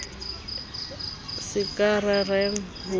se ka rerang ho di